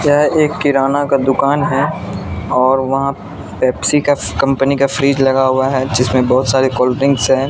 यह एक किराना का दुकान है और वहां पेप्सी का कंपनी का फ्रिज लगा हुआ है जिसमें बहुत सारे कोल्ड ड्रिंक्स हैं।